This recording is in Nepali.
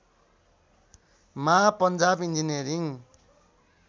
मा पञ्जाब इन्जिनियरिङ